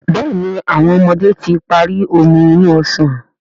Béèni àwọn ọmọdé tí parí Omi inú ọsàn.